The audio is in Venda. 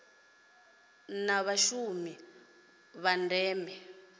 i na mushumo wa ndeme